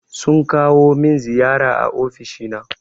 Sun kawo min ziyara a ofishi na.